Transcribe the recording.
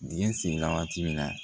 Dingɛ senni la waati min na